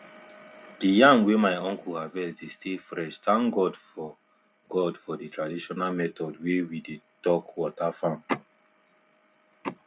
the yam wey my uncle harvest dey stay freshthank god for god for the traditional method wey we dey talk water farm